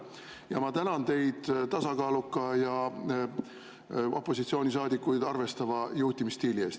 Ja ma tänan teid tasakaaluka ja opositsioonisaadikuid arvestava juhtimisstiili eest.